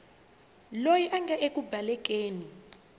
loyi a nga eku balekeni